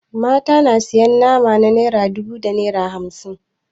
Mata na sayan nama na naira dubu da naira hamsin.